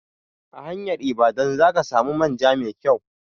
A hanyar Ibadan za ka samu manja mai kyau.